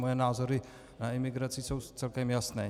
Moje názory na imigraci jsou celkem jasné.